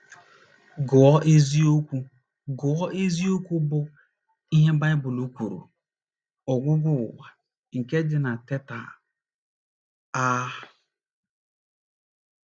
Gụọ isiokwu Gụọ isiokwu bụ́ “ Ihe Baịbụl Kwuru — Ọgwụgwụ Ụwa, ” nke dị na Teta! a.